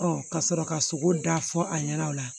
ka sɔrɔ ka sogo da fɔ a ɲɛna o la